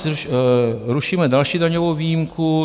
Rušíme další daňovou výjimku.